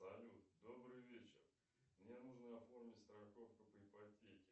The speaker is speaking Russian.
салют добрый вечер мне нужно оформить страховку по ипотеке